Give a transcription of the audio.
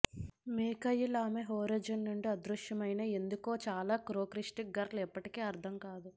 Mikhail ఆమె horizon నుండి అదృశ్యమైన ఎందుకు చాలా కోక్ట్చీష్ గర్ల్ ఎప్పటికీ అర్థం కాదు